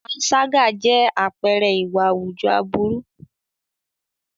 Panṣágà jẹ́ àpẹẹrẹ ìwà àwùjọ aburú.